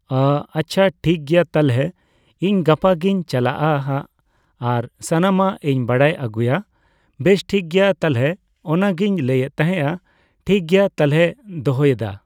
ᱚ, ᱟᱪᱪᱷᱟ ᱴᱷᱤᱠᱜᱮᱭᱟ ᱛᱟᱞᱦᱮ ᱤᱧ ᱜᱟᱯᱟ ᱜᱤᱧ ᱪᱟᱞᱟᱜᱼᱟ ᱦᱟᱸᱜ᱾ ᱟᱨ ᱥᱟᱱᱟᱢᱟᱜ ᱤᱧ ᱵᱟᱲᱟᱭ ᱟᱹᱜᱩᱭᱟ᱾ ᱵᱮᱥ, ᱴᱷᱤᱠᱜᱮᱭᱟ ᱛᱟᱞᱦᱮ ᱚᱱᱟᱜᱤᱧ ᱞᱟᱹᱭᱮᱫ ᱛᱟᱦᱮᱸᱜ᱾ ᱴᱷᱤᱠᱜᱮᱭᱟ ᱛᱟᱞᱦᱮᱧ ᱫᱚᱦᱚᱭᱮᱫᱟ᱾